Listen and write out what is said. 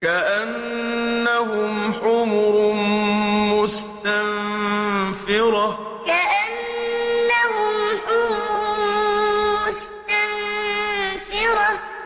كَأَنَّهُمْ حُمُرٌ مُّسْتَنفِرَةٌ كَأَنَّهُمْ حُمُرٌ مُّسْتَنفِرَةٌ